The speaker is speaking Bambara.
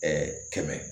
Ɛɛ kɛmɛ